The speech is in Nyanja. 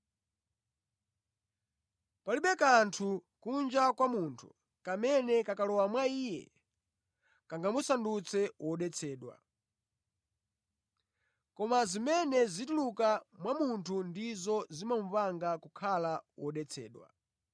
Palibe kanthu kunja kwa munthu kamene kakalowa mwa iye kangamusandutse wodetsedwa. Koma zimene zituluka mwa munthu ndizo zimupanga kukhala wodetsedwa.”